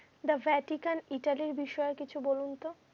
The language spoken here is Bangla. The Vatican italy র কিছু বলুন তো?